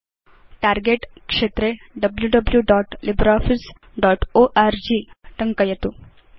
target क्षेत्रे wwwlibreofficeorg टङ्कयतु